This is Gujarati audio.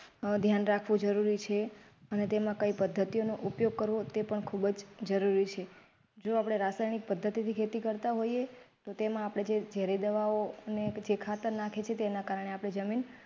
અમ ધ્યાન રાખવું જરૂરી છે અને તેમાં કઈ પદ્ધતિનો ઉપયોગ કરો તે પણ ખુબ જરૂરી છે. જો આપને રાસાયણિક પદ્ધતિથી ખેતી કરતા હોઈએ તો તેમાં આપણે જે ઝેરી દવાઓ ને છે ખાતર નાખીએ છે તેના કારણે આપણી જમીન.